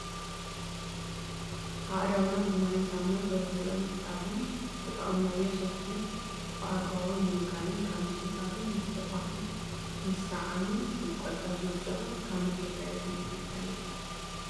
ኣእዳውና ብማይን ሳሙናን ቶሎ ቶሎ ምሕፃብንዝተጠቀምናዮ ሶፍቲ ብኣግባቡ ምውጋድን ካብ ምጭብባጥን ምትሕቁቃፍን ምስዕዓምን ንቆጠብ ዝብል ፅሑፍ ካብ ምንታይ ቫይረስ ንምክልካል እዩ?